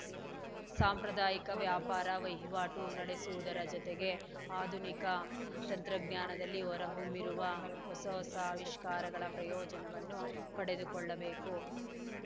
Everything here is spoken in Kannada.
ಸಾಂಪ್ರದಾಯಿಕ ವ್ಯಾಪಾರ ವಹಿವಾಟು ನಡೆಸುವುದರ ಜತೆಗೆ ಆಧುನಿಕ ತಂತ್ರಜ್ಞಾನದಲ್ಲಿ ಹೊರ ಹೊಮ್ಮಿರುವ ಹೊಸ ಹೊಸ ಆವಿಷ್ಕಾರಗಳ ಪ್ರಯೋಜನವನ್ನೂ ಪಡೆದುಕೊಳ್ಳಬೇಕು